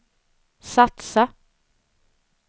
satsa